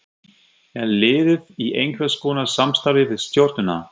Er liðið í einhverskonar samstarfi við Stjörnuna?